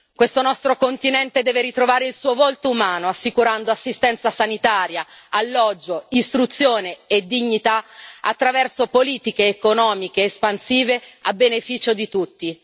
Questo nostro continente deve ritrovare il suo volto umano, assicurando assistenza sanitaria, alloggio, istruzione e dignità attraverso politiche economiche espansive a beneficio di tutti.